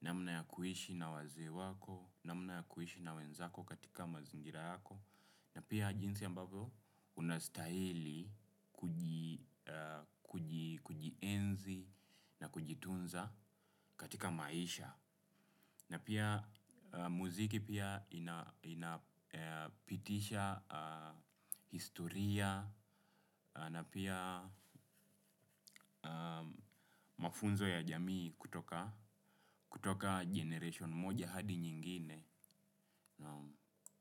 namna ya kuishi na wazee wako, namna ya kuishi na wenzako katika mazingira yako. Na pia jinsi ambavyo unastahili kuji kujienzi na kujitunza katika maisha. Na pia muziki pia inapitisha historia na pia mafunzo ya jamii kutoka generation moja hadi nyingine.